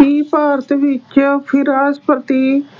ਹੀ ਭਾਰਤ ਵਿੱਚ